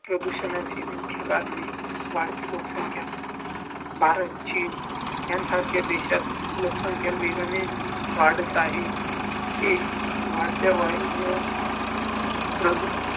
वायु प्रदूषणाचे मुख्य कारणे वाढती लोकसंख्या. भारतचीन यासारखे देशात लोकसंख्या वेगाने वाढत आहेत ते वाढत्या वायूमुळे प्रदूषण